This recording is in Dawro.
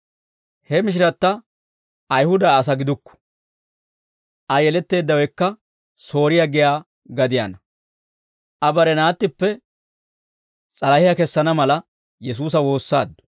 He mishiratta Ayihuda asaa gidukku; Aa yeletteeddawekka Sooriyaa giyaa gadiyaanna; Aa bare naattippe s'alahiyaa kessana mala, Yesuusa woossaaddu.